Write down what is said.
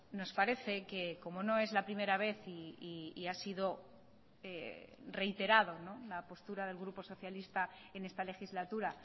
nos parece que como no es la primera vez y ha sido reiterado la postura del grupo socialista en esta legislatura